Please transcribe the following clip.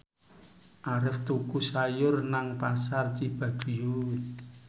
Arif tuku sayur nang Pasar Cibaduyut